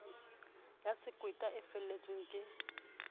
ya sekweta e felletsweng ke